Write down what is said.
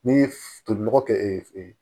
N'i ye tolinɔgɔ kɛ